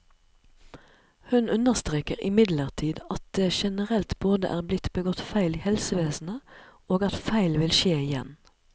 Hun understreker imidlertid at det generelt både er blitt begått feil i helsevesenet, og at feil vil skje igjen.